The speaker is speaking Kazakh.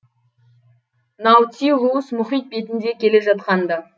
наутилус мұхит бетінде келе жатқан ды